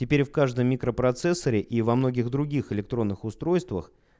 теперь в каждом микропроцессоре и во многих других электронных устройствах